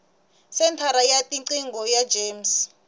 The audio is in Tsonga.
senthara ya tiqingho ya gems